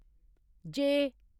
जे